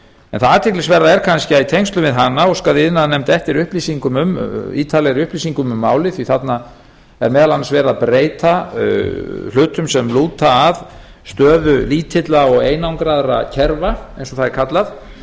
en það athyglisverða er kannski að í tengslum við hana óskaði iðnaðarnefnd eftir ítarlegri upplýsingum um málið því þarna er meðal annars verið að breyta hlutum sem lúta að stöðu lítilla og einangraðra kerfa eins og það er kallað